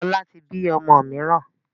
Lọ́la tí bí ọmọ mìíràn